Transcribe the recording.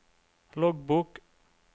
loggbok